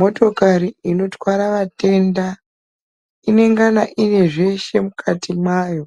Motokari inotwara vatenda inongana ine zveshe mukati mayo